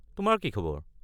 তোমাৰ কি খবৰ?